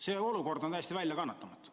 See olukord on täiesti väljakannatamatu.